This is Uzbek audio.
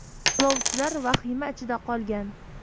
Yo‘lovchilar vahima ichida qolgan.